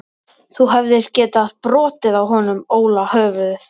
Þú hefðir getað brotið á honum Óla höfuðið.